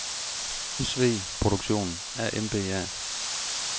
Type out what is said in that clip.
SV Produktion A.M.B.A.